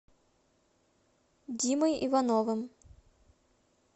димой ивановым